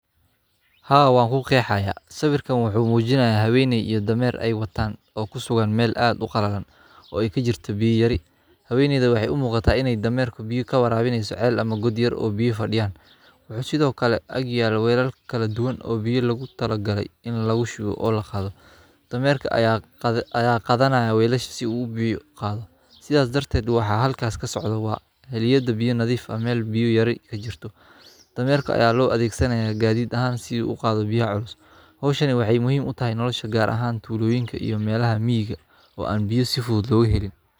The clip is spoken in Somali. Haa, waan ku qeexaya. Sawirkan wuxuu muujinayaa habeeniyoy iyo damaare ay wataan oo ku sugan meel aad u qalaadan oo ay ka jirto biyaha rai. Habeenida waxay umuqataa inay dhammeer ku biyo ka warbaahineyso caleel ama goodyar oo biyo fadhiyaan. Wuxuu sidoo kale agyaal weylal kala duwan oo biyo lagu talo galay in lagu shubo oo la qaadato. Dhammeerka ayaa qada- ayaa qadanaayaa weylasha si uu u biyo qaado. Sidaas darteed waxaa halkaas ka socda wa- heliyada biyo nadiif ah meel biyo yar ay ka jirto. Dhammeerka ayaa loo adeegsanayaa gaariid ahaan si uu u qaadato biyaha culus. Hawshani waxay muhiim u tahay in nolosha gaar ahaan tuuloyinka iyo meelaha miyaga oo aan biyo sifooda ugu helin.